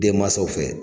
Denmansaw fɛ